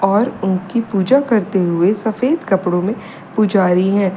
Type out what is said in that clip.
और उनकी पूजा करते हुए सफेद कपड़ों में पुजारी हैं।